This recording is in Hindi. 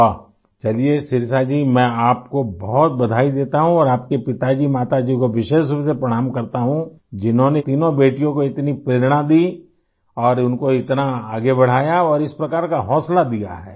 वाह चलिए शिरिषा जी मैं आपको बहुत बधाई देता हूँ और आपके पिताजी माताजी को विशेष रूप से प्रणाम करता हूँ जिन्होंने तीनों बेटियों को इतनी प्रेरणा दी और उनको इतना आगे बढ़ाया और इस प्रकार का हौसला दिया है